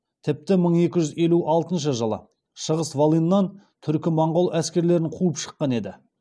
тіпті мың екі жүз елу алтыншы жылы шығыс волыннан түркі моңғол әскерлерін қуып шыққан еді